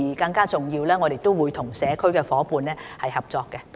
更重要的是，我們亦會與社區夥伴合作。